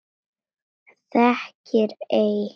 Þekkir ei?